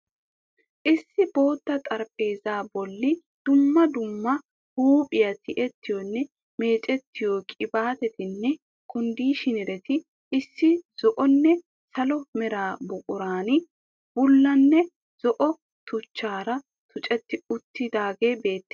Issi bootta xaraphpheeza bolli dumma dumma huuphphiya tiyeettiyoonne meeccettiyo qibaatettinee kondiishineretti issi zo'onne salo mera buquraan, bullanne zo'o tuchchaara tuccetti uttaagee bettees.